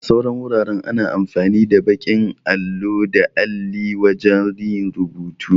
A sauran wuraren ana amfani da baƙin allo da alli wajan yin rubutu